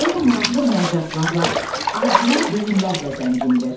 Poyema maraqlı məcazlarla, orijinal deyimlərlə zəngindir.